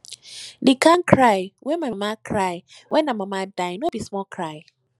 di kain cry wey my mama cry wen her mama die no be small cry